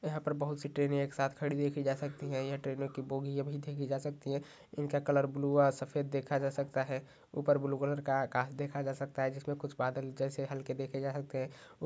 यहा पर बहुत सी ट्रेने एक साथ खड़ी देखि जा सकती है यह ट्रेनों की भोगीया भी देखि जा सकती है इंका कलर ब्लू आ सफ़ेद देखा जा सकता है उपर ब्लू कलर का आकास देखा जा सकता है जिसमे कुछ बादल जैसे हल्के देखे जा सकते है।